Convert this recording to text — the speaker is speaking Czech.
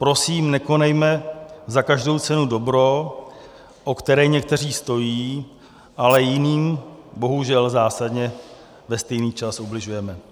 Prosím, nekonejme za každou cenu dobro, o které někteří stojí, ale jiným bohužel zásadně ve stejný čas ubližujeme.